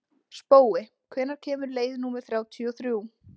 Spói, hvenær kemur leið númer þrjátíu og þrjú?